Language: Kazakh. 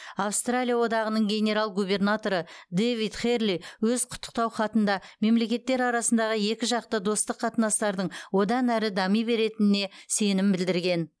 австралия одағының генерал губернаторы дэвид херли өз құттықтау хатында мемлекеттер арасындағы екіжақты достық қатынастардың одан әрі дами беретініне сенім білдірген